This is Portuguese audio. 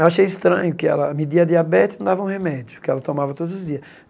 Eu achei estranho que ela media a diabetes e não dava remédio, que ela tomava todos os dias.